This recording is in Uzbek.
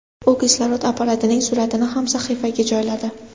U kislorod apparatining suratini ham sahifasiga joyladi.